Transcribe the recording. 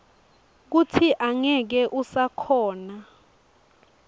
kutsi angeke usakhona